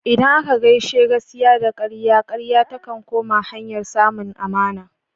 Idan aka gaishe gaskiya da karya, karya takan koma hanyar samun amana.